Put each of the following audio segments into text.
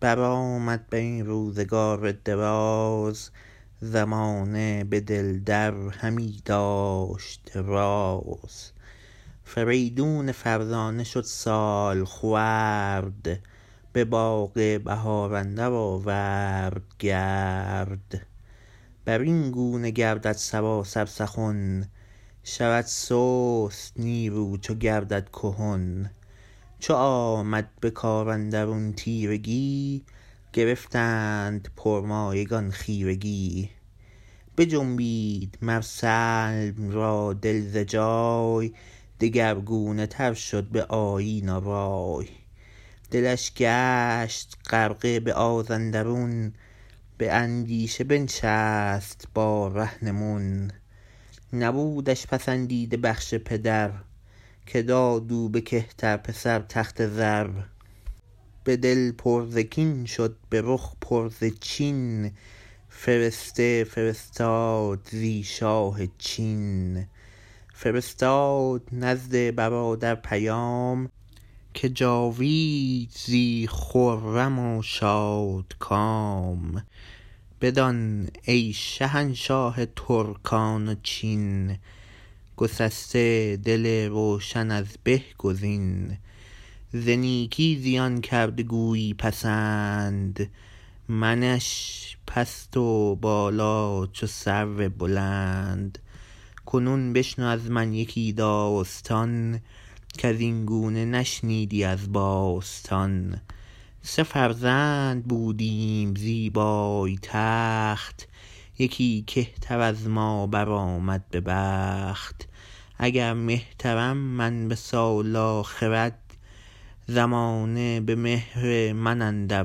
برآمد برین روزگار دراز زمانه به دل در همی داشت راز فریدون فرزانه شد سالخورد به باغ بهار اندر آورد گرد برین گونه گردد سراسر سخن شود سست نیرو چو گردد کهن چو آمد به کاراندرون تیرگی گرفتند پرمایگان خیرگی بجنبید مر سلم را دل ز جای دگرگونه تر شد به آیین و رای دلش گشت غرقه به آزاندرون به اندیشه بنشست با رهنمون نبودش پسندیده بخش پدر که داد او به کهتر پسر تخت زر به دل پر ز کین شد به رخ پر ز چین فرسته فرستاد زی شاه چین فرستاد نزد برادر پیام که جاوید زی خرم و شادکام بدان ای شهنشاه ترکان و چین گسسته دل روشن از به گزین ز نیکی زیان کرده گویی پسند منش پست و بالا چو سرو بلند کنون بشنو ازمن یکی داستان کزین گونه نشنیدی از باستان سه فرزند بودیم زیبای تخت یکی کهتر از ما برآمد به بخت اگر مهترم من به سال و خرد زمانه به مهر من اندر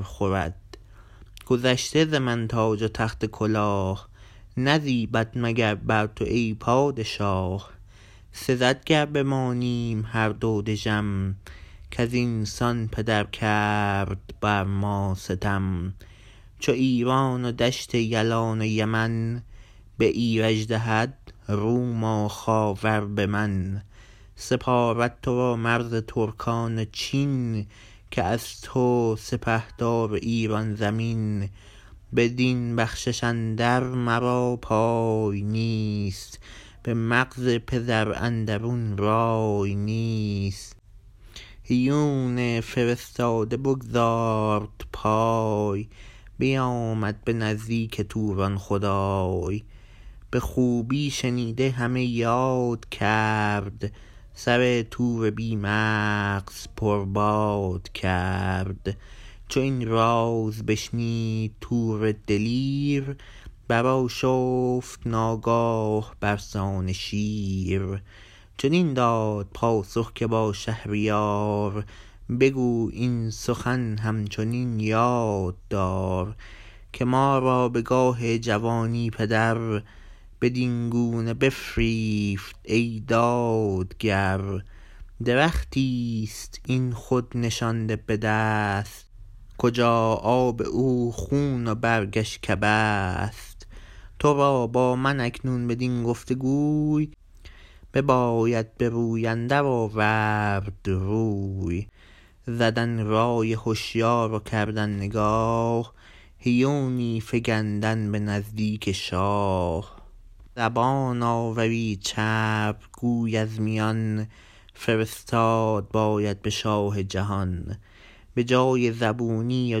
خورد گذشته ز من تاج و تخت و کلاه نزیبد مگر بر تو ای پادشاه سزد گر بمانیم هر دو دژم کزین سان پدر کرد بر ما ستم چو ایران و دشت یلان و یمن به ایرج دهد روم و خاور به من سپارد ترا مرز ترکان و چین که از تو سپهدار ایران زمین بدین بخشش اندر مرا پای نیست به مغز پدر اندرون رای نیست هیون فرستاده بگزارد پای بیامد به نزدیک توران خدای به خوبی شنیده همه یاد کرد سر تور بی مغز پرباد کرد چو این راز بشنید تور دلیر برآشفت ناگاه برسان شیر چنین داد پاسخ که با شهریار بگو این سخن هم چنین یاد دار که ما را به گاه جوانی پدر بدین گونه بفریفت ای دادگر درختیست این خود نشانده بدست کجا آب او خون و برگش کبست ترا با من اکنون بدین گفت گوی بباید بروی اندر آورد روی زدن رای هشیار و کردن نگاه هیونی فگندن به نزدیک شاه زبان آوری چرب گوی از میان فرستاد باید به شاه جهان به جای زبونی و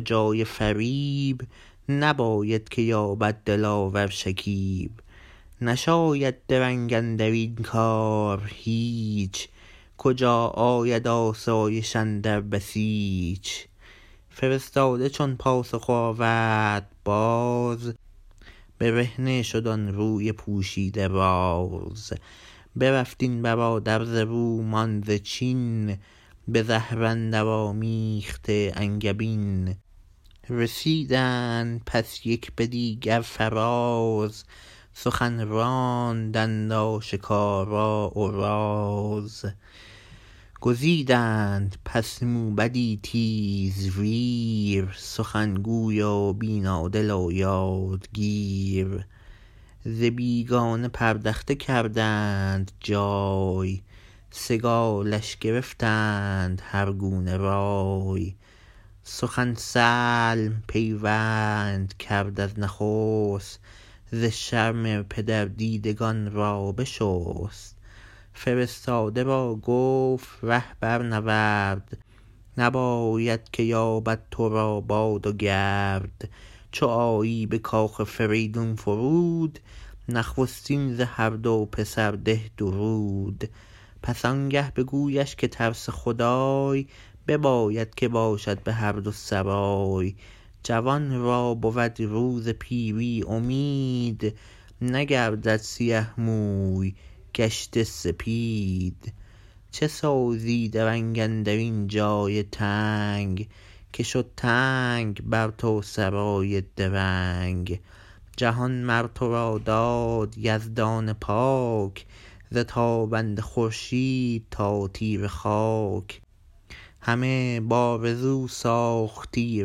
جای فریب نباید که یابد دلاور شکیب نشاید درنگ اندرین کار هیچ کجا آید آسایش اندر بسیچ فرستاده چون پاسخ آورد باز برهنه شد آن روی پوشیده راز برفت این برادر ز روم آن ز چین به زهر اندر آمیخته انگبین رسیدند پس یک به دیگر فراز سخن راندند آشکارا و راز گزیدند پس موبدی تیزویر سخن گوی و بینادل و یادگیر ز بیگانه پردخته کردند جای سگالش گرفتند هر گونه رای سخن سلم پیوند کرد از نخست ز شرم پدر دیدگان را بشست فرستاده را گفت ره برنورد نباید که یابد ترا باد و گرد چو آیی به کاخ فریدون فرود نخستین ز هر دو پسر ده درود پس آنگه بگویش که ترس خدای بباید که باشد به هر دو سرای جوان را بود روز پیری امید نگردد سیه موی گشته سپید چه سازی درنگ اندرین جای تنگ که شد تنگ بر تو سرای درنگ جهان مرترا داد یزدان پاک ز تابنده خورشید تا تیره خاک همه بآرزو ساختی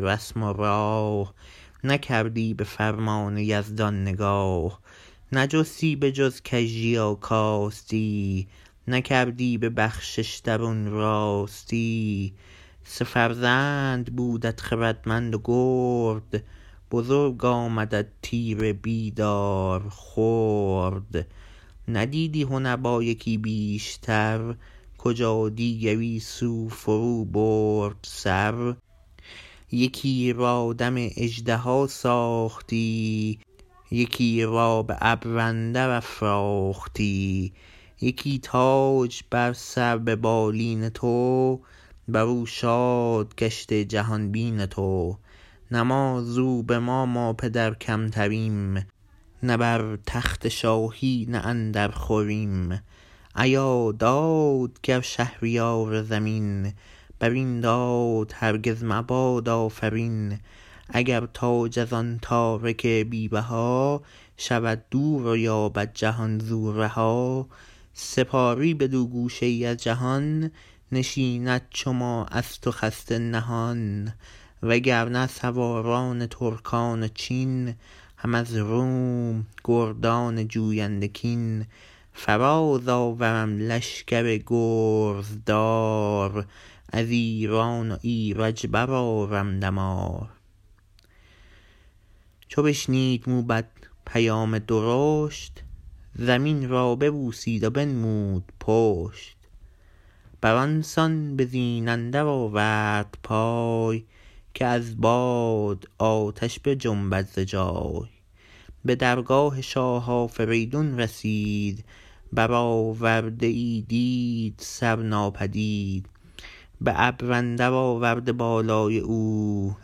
رسم و راه نکردی به فرمان یزدان نگاه نجستی به جز کژی و کاستی نکردی به بخشش درون راستی سه فرزند بودت خردمند و گرد بزرگ آمدت تیره بیدار خرد ندیدی هنر با یکی بیشتر کجا دیگری زو فرو برد سر یکی را دم اژدها ساختی یکی را به ابر اندر افراختی یکی تاج بر سر ببالین تو برو شاد گشته جهان بین تو نه ما زو به مام و پدر کمتریم نه بر تخت شاهی نه اندر خوریم ایا دادگر شهریار زمین برین داد هرگز مباد آفرین اگر تاج از آن تارک بی بها شود دور و یابد جهان زو رها سپاری بدو گوشه ای از جهان نشیند چو ما از تو خسته نهان و گرنه سواران ترکان و چین هم از روم گردان جوینده کین فراز آورم لشگر گرزدار از ایران و ایرج برآرم دمار چو بشنید موبد پیام درشت زمین را ببوسید و بنمود پشت بر آنسان به زین اندر آورد پای که از باد آتش بجنبد ز جای به درگاه شاه آفریدون رسید برآورده ای دید سر ناپدید به ابر اندر آورده بالای او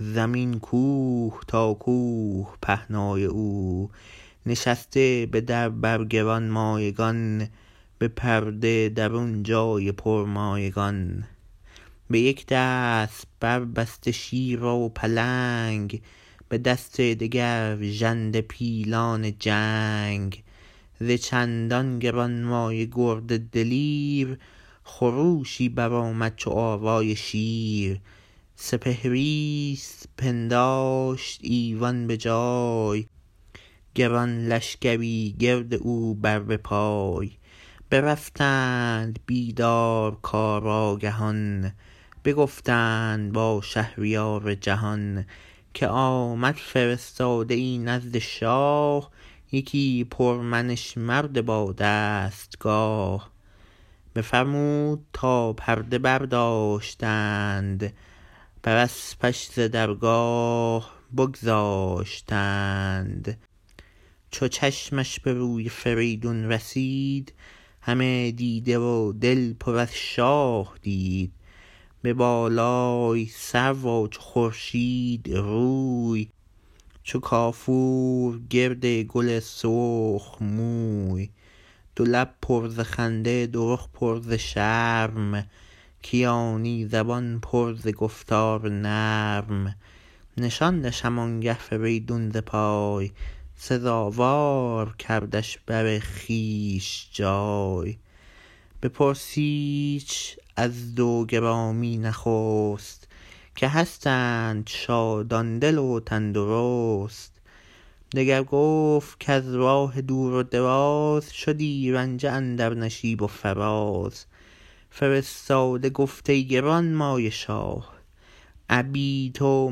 زمین کوه تا کوه پهنای او نشسته به در بر گرانمایگان به پرده درون جای پرمایگان به یک دست بربسته شیر و پلنگ به دست دگر ژنده پیلان جنگ ز چندان گرانمایه گرد دلیر خروشی برآمد چو آوای شیر سپهریست پنداشت ایوان به جای گران لشگری گرد او بر به پای برفتند بیدار کارآگهان بگفتند با شهریار جهان که آمد فرستاده ای نزد شاه یکی پرمنش مرد با دستگاه بفرمود تا پرده برداشتند بر اسپش ز درگاه بگذاشتند چو چشمش به روی فریدون رسید همه دیده و دل پر از شاه دید به بالای سرو و چو خورشید روی چو کافور گرد گل سرخ موی دولب پر ز خنده دو رخ پر ز شرم کیانی زبان پر ز گفتار نرم نشاندش هم آنگه فریدون ز پای سزاوار کردش بر خویش جای بپرسیدش از دو گرامی نخست که هستند شادان دل و تن درست دگر گفت کز راه دور و دراز شدی رنجه اندر نشیب و فراز فرستاده گفت ای گرانمایه شاه ابی تو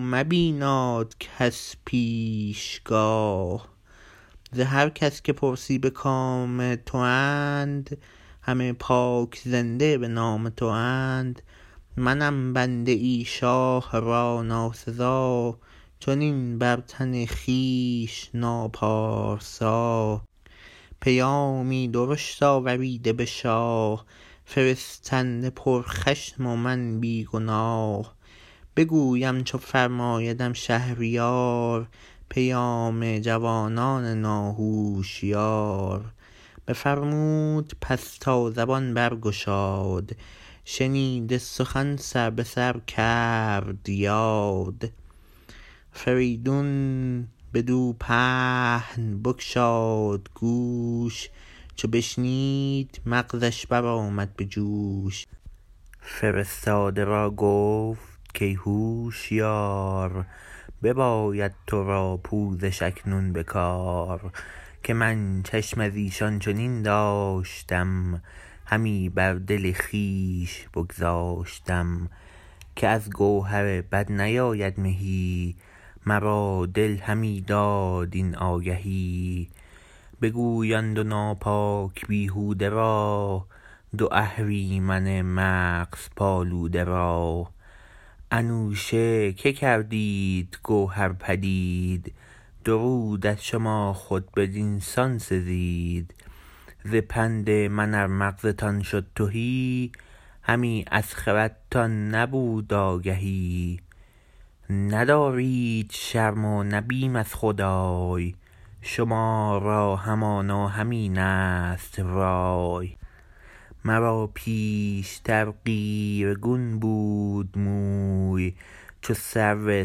مبیناد کس پیش گاه ز هر کس که پرسی به کام تواند همه پاک زنده به نام تواند منم بنده ای شاه را ناسزا چنین بر تن خویش ناپارسا پیامی درشت آوریده به شاه فرستنده پر خشم و من بیگناه بگویم چو فرمایدم شهریار پیام جوانان ناهوشیار بفرمود پس تا زبان برگشاد شنیده سخن سر به سر کرد یاد فریدون بدو پهن بگشاد گوش چو بشنید مغزش برآمد به جوش فرستاده را گفت کای هوشیار بباید ترا پوزش اکنون به کار که من چشم از ایشان چنین داشتم همی بر دل خویش بگذاشتم که از گوهر بد نیاید مهی مرا دل همی داد این آگهی بگوی آن دو ناپاک بیهوده را دو اهریمن مغز پالوده را انوشه که کردید گوهر پدید درود از شما خود بدین سان سزید ز پند من ار مغزتان شد تهی همی از خردتان نبود آگهی ندارید شرم و نه بیم از خدای شما را همانا همین ست رای مرا پیشتر قیرگون بود موی چو سرو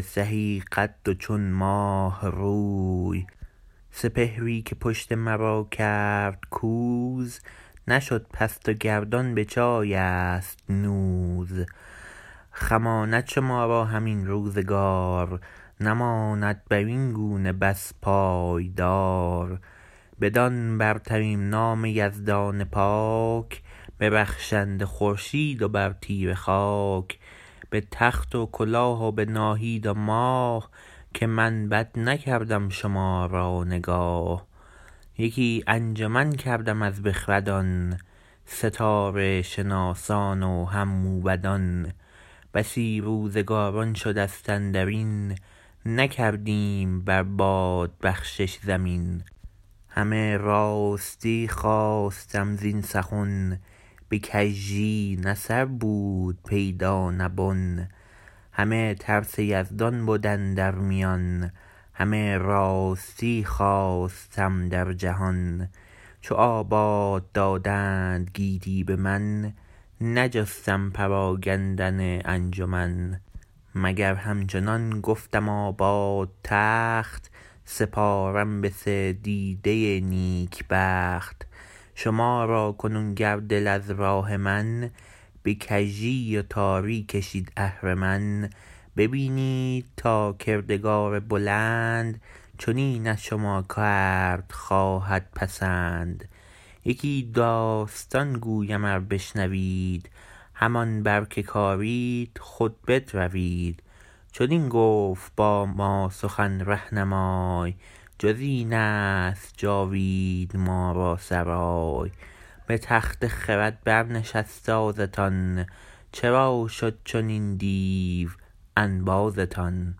سهی قد و چون ماه روی سپهری که پشت مرا کرد کوز نشد پست و گردان بجایست نوز خماند شما را هم این روزگار نماند برین گونه بس پایدار بدان برترین نام یزدان پاک به رخشنده خورشید و بر تیره خاک به تخت و کلاه و به ناهید و ماه که من بد نکردم شما را نگاه یکی انجمن کردم از بخردان ستاره شناسان و هم موبدان بسی روزگاران شدست اندرین نکردیم بر باد بخشش زمین همه راستی خواستم زین سخن به کژی نه سر بود پیدا نه بن همه ترس یزدان بد اندر میان همه راستی خواستم در جهان چو آباد دادند گیتی به من نجستم پراگندن انجمن مگر همچنان گفتم آباد تخت سپارم به سه دیده نیک بخت شما را کنون گر دل از راه من به کژی و تاری کشید اهرمن ببینید تا کردگار بلند چنین از شما کرد خواهد پسند یکی داستان گویم ار بشنوید همان بر که کارید خود بدروید چنین گفت باما سخن رهنمای جزین است جاوید ما را سرای به تخت خرد بر نشست آزتان چرا شد چنین دیو انبازتان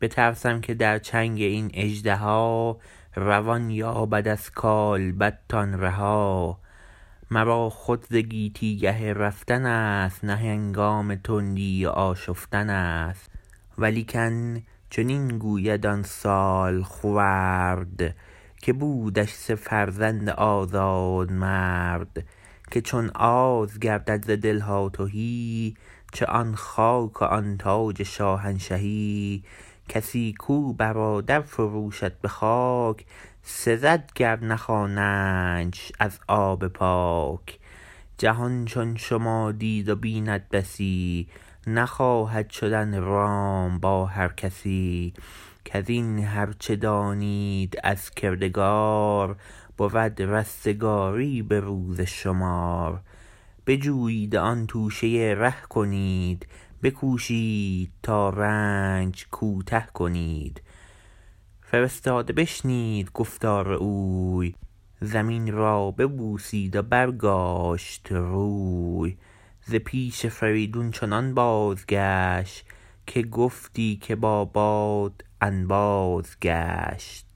بترسم که در چنگ این اژدها روان یابد از کالبدتان رها مرا خود ز گیتی گه رفتن است نه هنگام تندی و آشفتن است ولیکن چنین گوید آن سالخورد که بودش سه فرزند آزاد مرد که چون آز گردد ز دلها تهی چه آن خاک و آن تاج شاهنشهی کسی کو برادر فروشد به خاک سزد گر نخوانندش از آب پاک جهان چون شما دید و بیند بسی نخواهد شدن رام با هر کسی کزین هر چه دانید از کردگار بود رستگاری به روز شمار بجویید و آن توشه ره کنید بکوشید تا رنج کوته کنید فرستاده بشنید گفتار اوی زمین را ببوسید و برگاشت روی ز پیش فریدون چنان بازگشت که گفتی که با باد انباز گشت